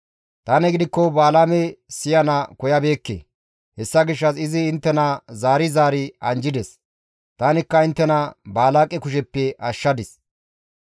Tani gidikko Balaame siyana koyabeekke; hessa gishshas izi inttena zaari zaari anjjides; tanikka inttena Baalaaqe kusheppe ashshadis.